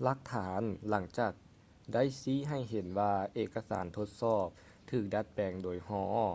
ຫຼັກຖານຫຼັງຈາກນັ້ນໄດ້ຊີ້ໃຫ້ເຫັນວ່າເອກະສານທົດສອບຖືກດັດແປງໂດຍ hall